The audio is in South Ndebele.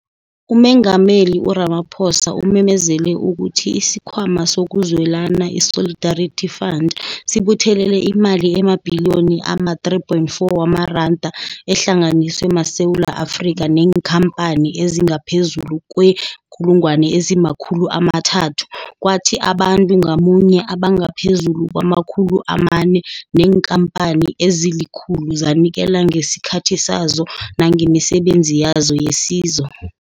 UMengameli u-Ramaphosa umemezele ukuthi isiKhwama sokuZwelana, iSolidarity Fund, sibuthelele imali emabhiliyoni ama-R3.4 ehlanganiswe maSewula Afrika neenkhampani ezingaphezulu kwee-300 000, kwathi abantu ngamunye abangaphezulu kwama-400 neenkhampani ezili-100 zanikela ngesikhathi sazo nangemisebenzi yazo yesizo.